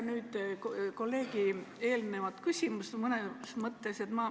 Ma nüüd mõnes mõttes jätkan kolleegi eelnevat küsimust.